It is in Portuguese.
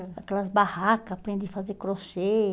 Aquelas barracas, aprendi a fazer crochê.